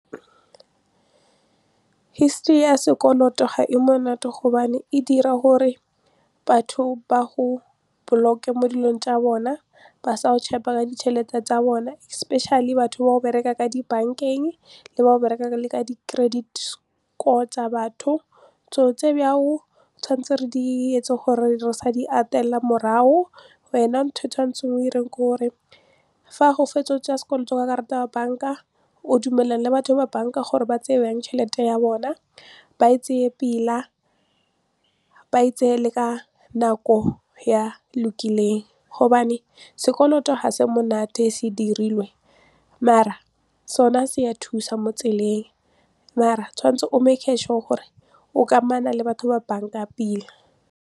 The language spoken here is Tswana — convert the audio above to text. History ya sekoloto ga e monate gobane e dira gore batho ba go block-e mo dilong tsa bona ba sa go ka ditšhelete tsa bone especially batho ba go bereka ka di bank-eng le ba go bereka le ka di-credit score tsa batho so tse bjao tshwantse re di etse gore re sa di atela morago wena ntho e tshwanetseng o direng ke gore fa go fetsa sekolo ka karata ya bank-a o dumelana le batho ba bank-a gore ba tseye jang tšhelete ya bona ba e tseye pila ba e tseye le ka nako ya lokileng gobane sekoloto ha se monate se dirilwe mare sona se a thusa mo tseleng mare tshwanetse o gore o kamano le batho ba bank-a pila.